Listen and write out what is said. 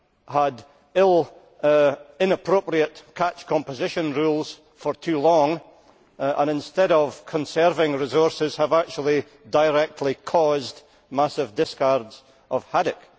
had inappropriate catch composition rules for too long, and instead of conserving resources have actually directly caused massive discards of haddock.